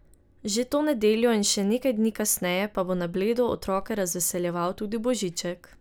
Že to nedeljo in še nekaj dni kasneje pa bo na Bledu otroke razveseljeval tudi Božiček.